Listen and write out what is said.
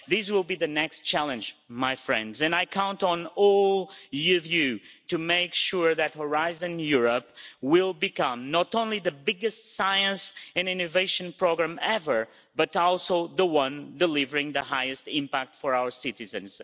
it. This will be the next challenge, my friends, and I count on all of you to make sure that Horizon Europe will become not only the biggest science and innovation programme ever, but also the one delivering the highest impact for our citizens.